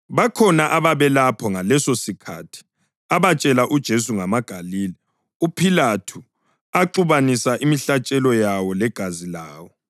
Bakhona ababelapho ngalesosikhathi abatshela uJesu ngamaGalile uPhilathu axubanisa imihlatshelo yawo legazi lawo.